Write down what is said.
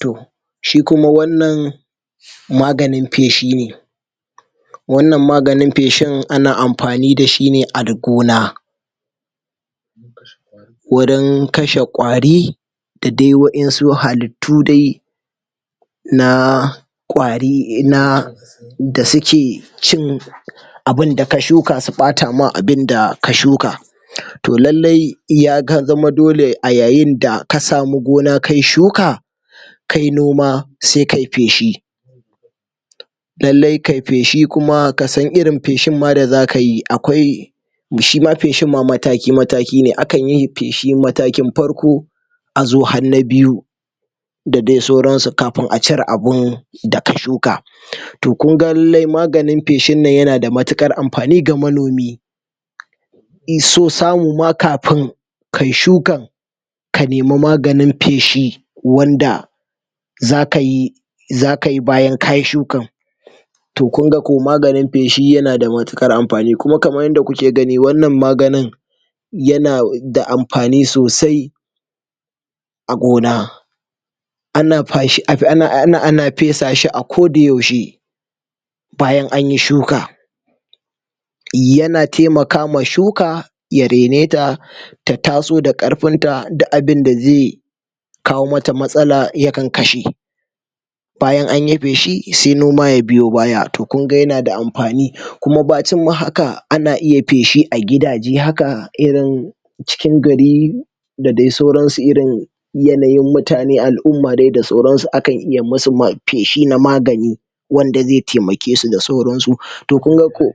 Toh shi kuma wannan maganin feshi ne wannan maganin feshin ana amfani da shi ne a gona wajan kashe kwari da de wayansu hallitu dai na na kwari na da suke cin abinda ka shuka su ɓata ma abinda ka shuka toh lailai ya zama dole a yayin da ka samu gona kayi shuka kayi noma sai kayi feshi lailai kayi feshi kuma kasan irin feshin ma da zaka yi akwai shima feshin ma mataki, mataki ne, akan yi feshi matakin na farko azo har na biyu da de sauran su kafin a cire abun da ka shuka toh kunga maganin fesin nan yanada mutukar amfani ga manomi be so samu ma kafin kayi shukan ka nima maganin feshi wanda zaka yi zaka yi bayan kayi shukan toh kunga ko maganin feshi yana da mutukar amfani kuma kamar yadda kuke gani wannan maganin yana ga amfani sosai a gona ana feshi ana fesa shi a koda yaushe bayan anyi shuka yana taimaka ma shuka ya raine ta ta taso da karfin ta duk abinda zaiyi kawo mata matsala yakan kashe bayan ainyi feshi se noma ya biyo baya to kunga yana da amfani bacinma haka ana iya feshi a gidaje haka irin cikin gari da dai sauran su irin yanayin mutanen al'umma da dai sauransu akan iya musu feshi na magani wanda zai taimakesu da sauransu toh kunga koh